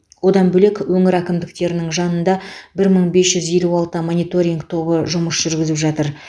одан бөлек өңір әкімдіктерінің жанында бір мың бес жүз елу алты мониторинг тобы жұмыс жүргізіп жатыр